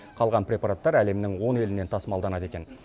қалған препараттар әлемнің он елінен тасымалданады екен